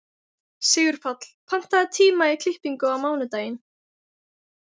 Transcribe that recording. Sigurpáll, pantaðu tíma í klippingu á mánudaginn.